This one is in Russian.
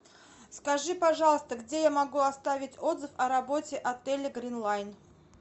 скажи пожалуйста где я могу оставить отзыв о работе отеля гринлайн